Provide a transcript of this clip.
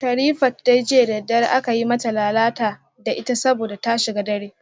Sherifat dai jiya da daddare aka yi mata lalata da ita saboda ta shiga dare